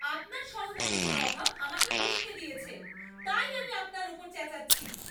আপনার সহানুভূতির অভাব আমাকে উস্কে দিয়েছে, তাই আমি আপনার ওপর চেঁচাচ্ছি!